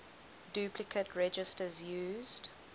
duplicate registers used